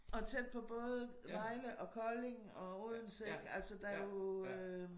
Og tæt på både Vejle og Kolding og Odense ikke altså der jo øh